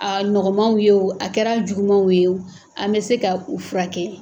Aa nɔgɔmanw ye o, a kɛr'a jugumanw ye o, an bɛ se ka u furakɛ.